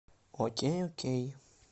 окей окей